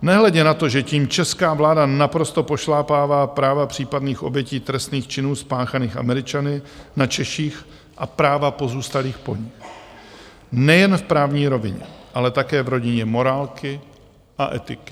Nehledě na to, že tím česká vláda naprosto pošlapává práva případných obětí trestných činů spáchaných Američany na Češích a práva pozůstalých po nich nejen v právní rovině, ale také v rodině morálky a etiky.